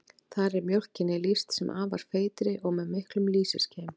Þar er mjólkinni lýst sem afar feitri og með miklum lýsiskeim.